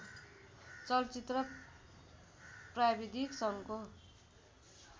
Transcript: चलचित्र प्राविधिक सङ्घको